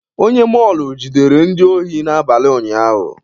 Onye mọọlụ jidere ndị ohi n'abalị ụnyaahụ.